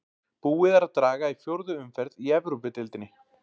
Búið er að draga í fjórðu umferð í Evrópudeildinni.